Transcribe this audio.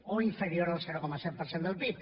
o inferior al zero coma set per cent del pib